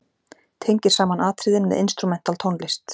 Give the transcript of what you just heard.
Tengir saman atriðin með instrumental tónlist.